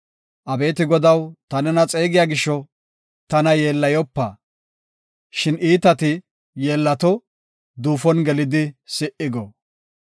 Abeeti Godaw, ta nena xeegiya gisho, tana yeellayopa. Shin iitati yeellato; duufon gelidi si77i go.